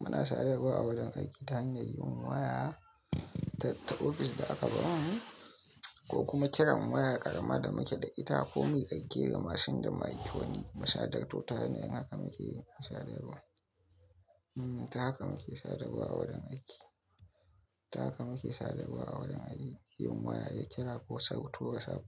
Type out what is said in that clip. Muna sadarwa a wurin aiki ta hanyar yin waya ta ofis da aka ba mu, ko kuma kiran waya ƙarama da muke da ita ko miƙaƙƙe ga masin da maiko ne. Musayar data ita ce hanyar da haka muke yi sadarwa. Haka muke sadarwa a wurin aiki. Haka muke sadarwa a wurin aiki. Yin waya, yin kira ko sauto WhatsApp